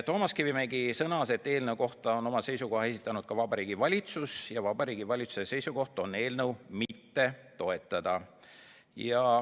Toomas Kivimägi sõnas, et eelnõu kohta on seisukoha esitanud ka Vabariigi Valitsus ja valitsuse seisukoht on eelnõu mitte toetada.